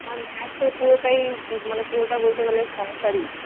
আমার মায়ের তো পুরোটাই জীব মানে পুরোটা বলতে গেলে সংসারই